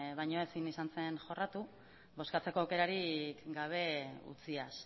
baina ezin izan zen jorratu bozkatzeko aukerarik gabe utziaz